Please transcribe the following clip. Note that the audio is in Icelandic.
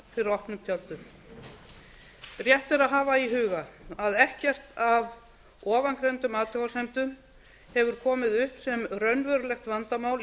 fyrir opnum tjöldum rétt er að hafa í huga að ekkert af ofangreindum athugasemdum hefur komið upp sem raunverulegt vandamál í